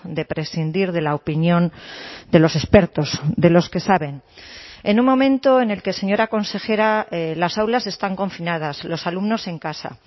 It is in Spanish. de prescindir de la opinión de los expertos de los que saben en un momento en el que señora consejera las aulas están confinadas los alumnos en casa